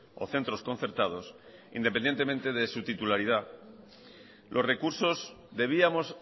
o centros concertados independientemente de su titularidad los recursos debíamos